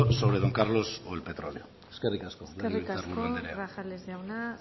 sobre don carlos o el petróleo eskerrik asko legebiltzar buru andrea eskerrik asko grajales jauna